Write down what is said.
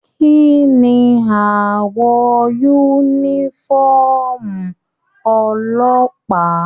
Kínní awọ yúnífọ̀ọ́mù ọlọ́pàá?